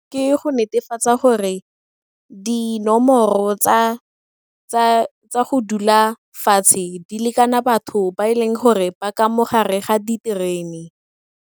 Ke go netefatsa gore dinomoro tsa go dula fatshe di lekana batho ba e leng gore ba ka mo gare ga diterene.